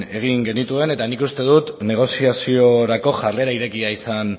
egin genituen eta nik uste dut negoziaziorako jarrera irekia izan